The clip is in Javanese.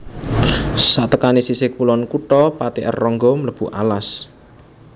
Satekané sisih kulon kutha Pati R Ronggo mlebu alas